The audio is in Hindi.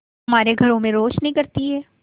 हमारे घरों में रोशनी करती है